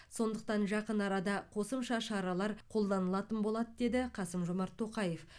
сондықтан жақын арада қосымша шаралар қолданылатын болады деді қасым жомарт тоқаев